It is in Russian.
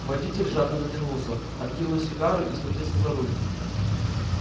водитель жадно затянулся откинул сигарету и схватился за руль